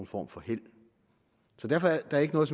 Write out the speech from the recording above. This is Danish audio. form for held derfor er der ikke noget